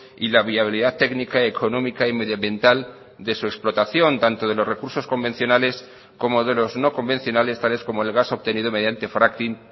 y la viabilidad técnica económica y medioambiental de su explotación tanto de los recursos convencionales como de los no convencionales tales como el gas obtenido mediante fracking